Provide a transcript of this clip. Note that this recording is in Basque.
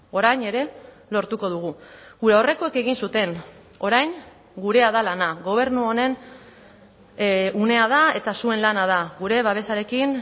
orain ere lortuko dugu gure aurrekoek egin zuten orain gurea da lana gobernu honen unea da eta zuen lana da gure babesarekin